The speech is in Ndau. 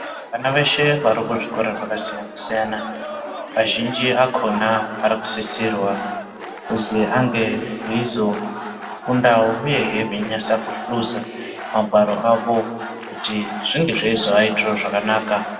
Vana veshe vari kuzvikora zvakasiyana-siyana vazhinji akona ari kusisirwa kuzi ange eizofundawo uyehe veinase kuhluza magwaro avo kuti zvinge zveizoaitirawo zvakanaka.